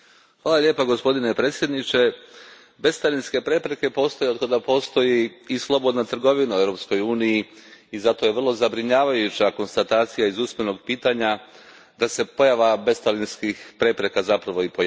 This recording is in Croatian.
Poštovani predsjedniče, bescarinske prepreke postoje otkada postoji i slobodna trgovina u Europskoj uniji i zato je vrlo zabrinjavajuća konstatacija iz usmenog pitanja da se pojava bescarinskih prepreka zapravo i pojačava.